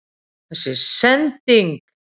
Þessi sending??.